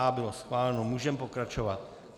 "A" bylo schváleno, můžeme pokračovat.